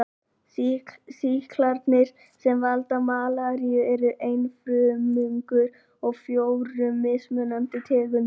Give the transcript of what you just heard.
Sýklarnir sem valda malaríu eru einfrumungar af fjórum mismunandi tegundum.